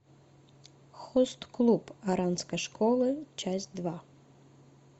хост клуб оранской школы часть два